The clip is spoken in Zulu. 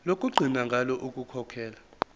lokugcina ngalo ukukhokhela